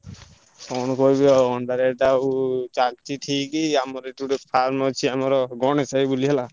କଣ କହିବି ଆଉ ଅଣ୍ଡା rate ଆଉ ଚା ଲଚି ଠିକ୍। ଆମର ଏଠି ଗୋଟେ farm ଅଛି ଆମର ଗଣେଶ ଭାଇ ବୋଲି ହେଲା।